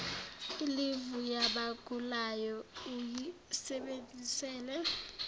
ilivu yabagulayo uyisebenzisele